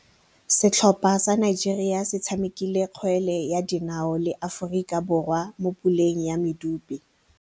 Setlhopha sa Nigeria se tshamekile kgwele ya dinaô le Aforika Borwa mo puleng ya medupe.